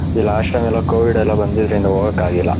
E last time ಎಲ್ಲ covid ಎಲ್ಲ ಬಂದಿದ್ರ್ ಇಂದ ಹೋಗಕ್ಕೆ ಆಗಿಲ್ಲ .